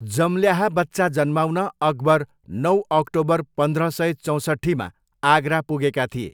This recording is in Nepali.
जम्ल्याहा बच्चा जन्माउन अकबर नौ अक्टोबर पन्ध्र सय चौसट्ठी मा आगरा पुगेका थिए।